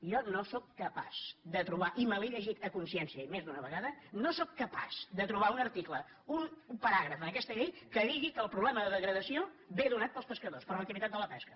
jo no sóc capaç de trobar i me l’he llegit a consciència i més d’una vegada no sóc capaç de trobar un article un paràgraf en aquesta llei que digui que el problema de degradació ve donat pels pescadors per l’activitat de la pesca